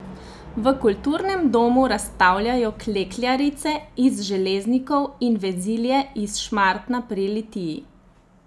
V Kulturnem domu razstavljajo klekljarice iz Železnikov in vezilje iz Šmartna pri Litiji.